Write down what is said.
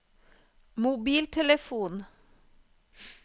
mobiltelefon